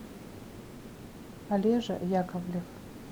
олежа яковлев